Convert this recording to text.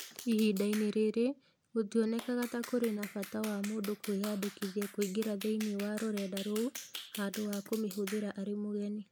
Ihinda-inĩ rĩrĩ, gũtionekaga ta kũrĩ na bata wa mũndũ kwĩyandĩkithia kũingĩra thĩinĩ wa rũrenda rou handũ ha kũmĩhũthĩra arĩ mũgeni.